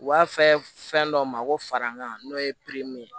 U b'a fɛ fɛn dɔ ma ko farankan n'o ye ye